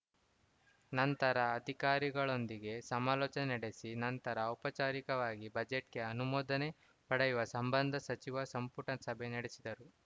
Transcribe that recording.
ನಂತರ ಅಧಿಕಾರಿಗಳೊಂದಿಗೆ ಸಮಾಲೋಚನೆ ನಡೆಸಿ ನಂತರ ಔಪಚಾರಿಕವಾಗಿ ಬಜೆಟ್‌ಗೆ ಅನುಮೋದನೆ ಪಡೆಯುವ ಸಂಬಂಧ ಸಚಿವ ಸಂಪುಟ ಸಭೆ ನಡೆಸಿದರು